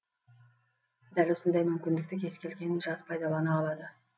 дәл осындай мүмкіндікті кез келген жас пайдалана алады